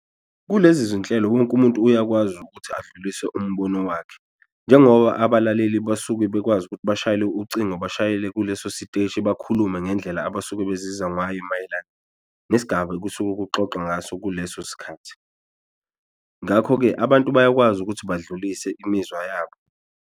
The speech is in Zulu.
Kulezi zinhlelo wonke umuntu uyakwazi ukuthi adlulise umbono wakhe, njengoba abalaleli basuke bekwazi ukuthi bashayele ucingo bashayele kuleso siteshi bakhulume ngendlela yala abasuke bezizwa ngayo mayelana nesigaba okusuke kuxoxwa ngaso kuleso sikhathi. Ngakho-ke abantu bayakwazi ukuthi badlulise imizwa yabo.